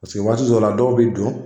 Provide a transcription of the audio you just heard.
Paseke waati dɔw la dɔw be don